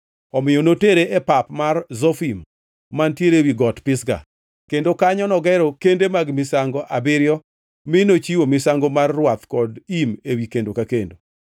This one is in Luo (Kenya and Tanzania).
Omiyo notere e pap mar Zofim mantiere ewi Got Pisga, kendo kanyo nogero kende mag misango abiriyo mi nochiwo misango mar rwath kod im ewi kendo ka kendo.